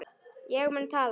Ég mun tala.